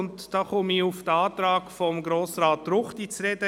Diesbezüglich komme ich auf den Antrag von Grossrat Ruchti zu sprechen.